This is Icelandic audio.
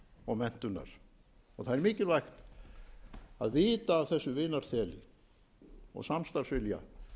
og menntunar mikilvægt er að vita af þessu vinarþeli og samstarfsvilja